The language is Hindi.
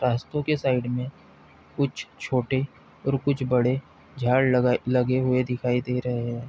रास्तों के साइड में कुछ छोटे और कुछ बड़े झाड़ लगाए लगे हुए दिखाई दे रहे हैं।